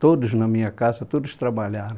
Todos na minha casa, todos trabalharam.